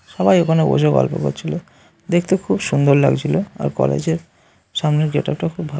সবাই ওখানে বসে গল্প করছিল। দেখতে খুব সুন্দর লাগছিল। আর কলেজের সামনের গেটআপ টাও খুব ভালো।